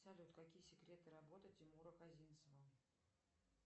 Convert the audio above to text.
салют какие секреты работы тимура козинцева